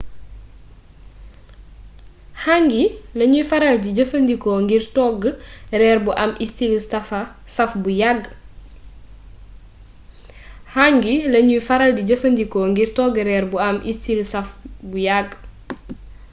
hangi lañuy faral di jëfandikoo ngir togg reer bu am istili saaf bu yàgg